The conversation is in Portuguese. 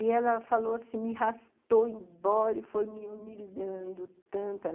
E ela falou assim, me arrastou embora e foi me humilhando tanto.